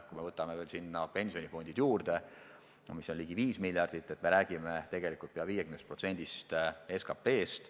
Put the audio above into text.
Kui me paneme sinna veel pensionifondid juurde, mille summa on ligi 5 miljardit, siis me räägime pea 50%-st SKT-st.